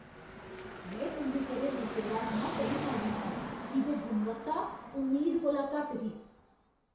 में तुं'दी घरेलू सेवा थमां बड़ी मायूस आं की जे गुणवत्ता उम्मीद कोला घट्ट ही।